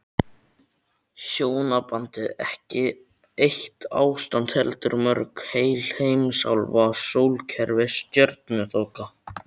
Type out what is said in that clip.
Hjónabandið ekki eitt ástand heldur mörg, heil heimsálfa, sólkerfi, stjörnuþoka.